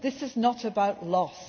could be. This is not about